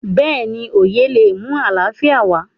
béèni oyè lé mú àlàfíà wá